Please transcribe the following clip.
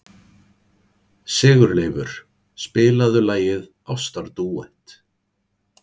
Sigurleifur, spilaðu lagið „Ástardúett“.